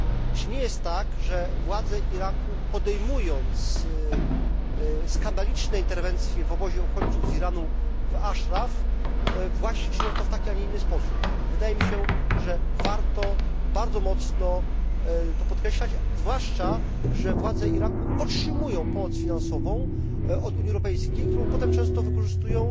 Czy nie jest tak, że władze Iraku podejmując skandaliczne interwencje w obozie uchodźców z Iranu w Ashraf właśnie czynią to w taki, a nie w inny sposób? Wydaje mi się, że warto bardzo mocno to podkreślać, zwłaszcza, że władze Iraku otrzymują pomoc finansową od Unii Europejskiej, którą potem często wykorzystują